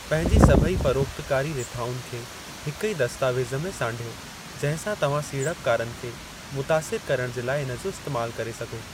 पंहिंजी सभेई फ़रोख़्तकारी रिथाउनि खे हिकु ई दस्तावेज़ु में सांढियो जिंहिं सां तव्हां सीड़पकारनि खे मुतासिर करणु जे लाइ इन जो इस्तैमालु करे सघो।